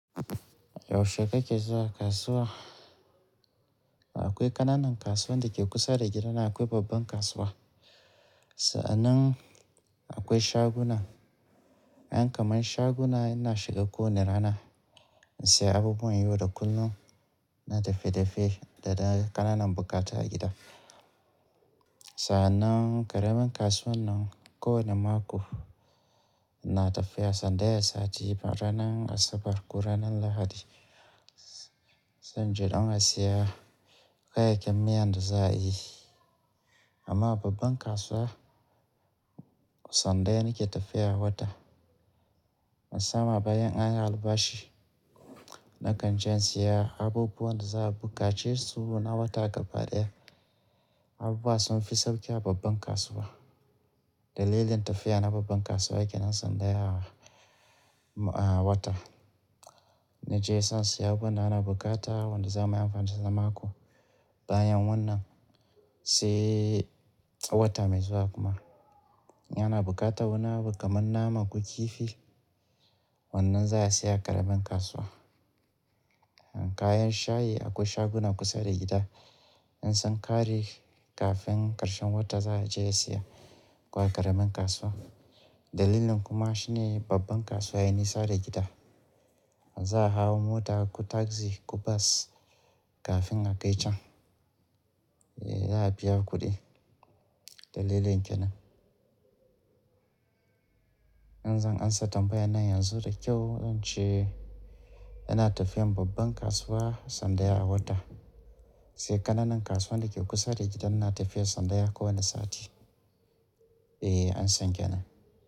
Yaushe kake zuwa kasuwa? Akwai ƙananan kasuwan da ke kusa da gidana, akwai babban kasuwa. Sa'annan akwai shaguna. Ƴan kaman shaguna ina shiga ko ne rana ina saya abubuwan yau da kullum na dafe-dafe da dayi kananan bukata a gida. Sa'nan jaramin kasuwan nan ko wani mako na tafiya sandaya sati ranan Asabar ko ranan Lahadi. Sai inje don a saya kayayyakin miyan da za a yi. Amma a babban kasuwa, sandaya ne ke tafiya a wata. Na sama bayan an yi albashi, nakan je in siya abubuwan da za a bukace su na wata gaba ɗaya. Abubuwa sun fi sauki a babban kasuwa. Dalilin tafiya na babban kasuwa ke nan sandaya a wata. Na je zan saya abubuwan da ana bukata wanda za muyi amfani da shi na mako bayan wannan, sai wata mai zuwa kuma. Yana bukatan wani abu kaman nama ko kifi, wannan za a saya a karamin kasuwa. Kayan shayi akwai shaguna kusa da gida. In sun kare kafin ƙarshen wata za a je a siya ko a karamin kasuwa. Dalilin kuma shine babban kasuwa ya nisa da gida. Za a hau mota ko taxi ko bus kafin a kai can. E, za a biya kudi. Dalilin ke nan. In zan ansa tambayan nan yanzu da kyau, zan ce ana tafiyan babban kasuwa sandaya a wata, sai ƙananan kasuwan da ke kusa da gidan ina tafiya sandaya ko wani sati. E, an san ke nan.